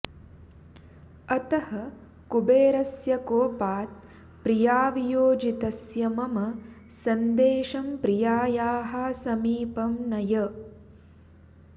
अतः कुबेरस्य कोपात् प्रियावियोजितस्य मम सन्देशं प्रियायाः समीपं नय